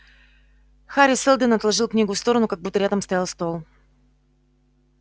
хари сэлдон отложил книгу в сторону как будто рядом стоял стол